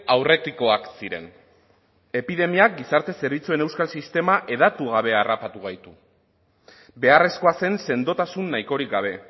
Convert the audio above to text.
aurretikoak ziren epidemiak gizarte zerbitzuen euskal sistema hedatu gabe harrapatu gaitu beharrezkoa zen sendotasun nahikorik gabe